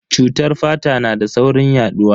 Cutar fata na da saurin yaduwa.